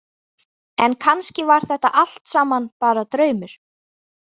En kannski var þetta allt saman bara draumur.